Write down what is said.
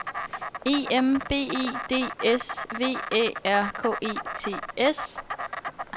E M B E D S V Æ R K E T S